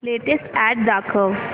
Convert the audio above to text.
latest ad दाखव